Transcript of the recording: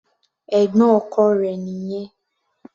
Ẹ̀gbọ́n ọkọ rẹ̀ nìyẹn.